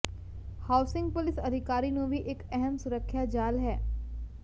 housing police ਅਧਿਕਾਰੀ ਨੂੰ ਵੀ ਇੱਕ ਅਹਿਮ ਸੁਰੱਖਿਆ ਜਾਲ ਹੈ